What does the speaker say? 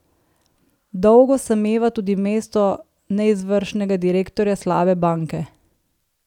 Dolgo sameva tudi mesto neizvršnega direktorja slabe banke.